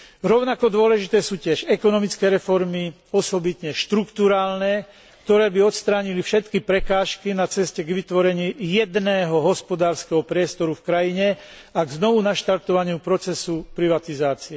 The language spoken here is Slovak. Rovnako dôležité sú tiež ekonomické reformy, osobitne štrukturálne, ktoré by odstránili všetky prekážky na ceste k vytvoreniu jedného hospodárskeho priestoru v krajine a k opätovnému naštartovaniu procesu privatizácie.